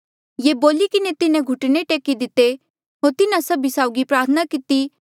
ये बोली किन्हें तिन्हें घुटने टेकी दिते होर तिन्हा सभी साउगी प्रार्थना किती